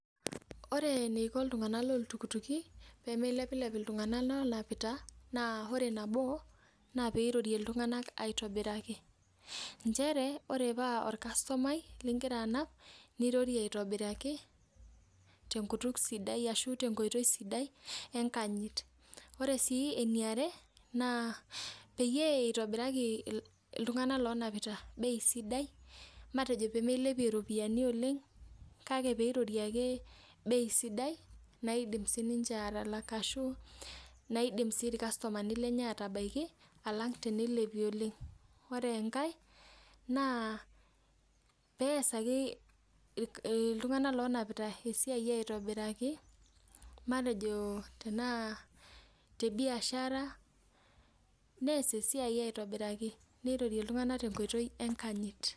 Ore eneiko iltung'anak loltukutuki pee meilepilep iltung'anak lonapita naa ore nabo naa peirorie iltung'anak aitobiraki inchere ore paa orkastomai lingira anap nirorie aitobiraki tenkutuk sidai ashu tenkoitoi sidai enkanyit ore sii eniare naa peyie eitobiraki iltung'anak lonapita bei sidai matejo pee meilepie iropiyiani oleng kake peirorie ake bei sidai naidim sininche atalak ashu naidim sii irkastomani lenye atabaiki alang teneilepie oleng ore enkae naapeesaki irk iltung'anak lonapita esiai aitobiraki matejo tenaa te biashara nees esiai aitobiraki neirorie iltung'anak tenkoitoi enkanyit.